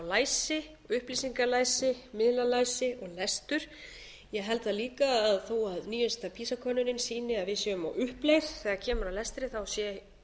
læsi upplýsingalæsi miðlalæsi og lestur ég held líka að þó að nýjasta pisa könnunin sýni að við séum á uppleið þegar kemur að lestri sé